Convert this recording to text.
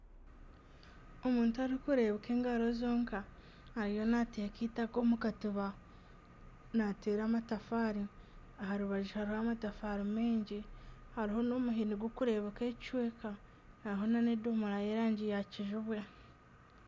Omuntu orikureebeka engaro zonka ariyo naateeka eitaka omu katiba naateera amatafaari aha rubaju hariho amatafaari mingi hariho n'omuhini gurikureebuka ekicweka hariho n'edomora y'erangi ya kijubwe